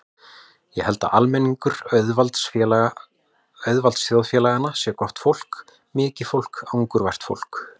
Ég held að almenningur auðvaldsþjóðfélaganna sé gott fólk, mikið fólk, angurvært fólk.